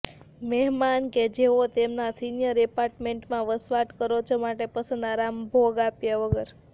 મહેમાનો કે જેઓ તેમના સિનિયર એપાર્ટમેન્ટમાં વસવાટ કરો છો માટે પસંદ આરામ ભોગ આપ્યા વગર